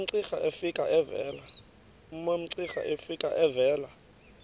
umamcira efika evela